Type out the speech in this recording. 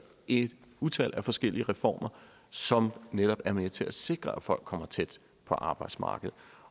et utal af forskellige reformer som netop er med til at sikre at folk kommer tæt på arbejdsmarkedet